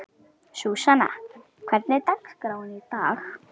Súsanna, hvernig er dagskráin í dag?